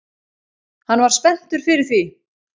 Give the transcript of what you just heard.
Hann var spenntur fyrir því